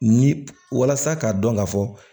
Ni walasa k'a dɔn ka fɔ